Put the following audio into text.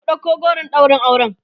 ku ɗauko goron ɗaurin auren!